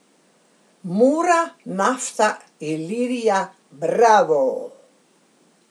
Mura, Nafta, Ilirija, Bravo ...